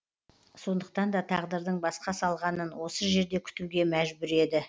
сондықтан да тағдырдың басқа салғанын осы жерде күтуге мәжбүр еді